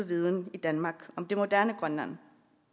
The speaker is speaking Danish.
viden i danmark om det moderne grønland